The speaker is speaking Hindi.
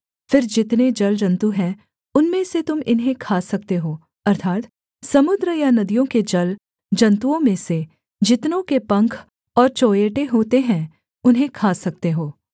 फिर जितने जलजन्तु हैं उनमें से तुम इन्हें खा सकते हों अर्थात् समुद्र या नदियों के जलजन्तुओं में से जितनों के पंख और चोंयेटे होते हैं उन्हें खा सकते हो